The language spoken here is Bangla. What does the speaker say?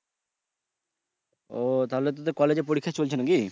ও তাহলে তো তোর কলেজে পরিক্ষা চলছে নাকি?